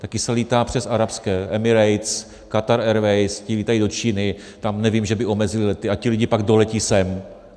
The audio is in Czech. Také se létá přes arabské Emirates, Qatar Airways, ti lítají do Číny, tam nevím, že by omezili lety, a ti lidi pak doletí sem.